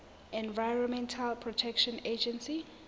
environmental protection agency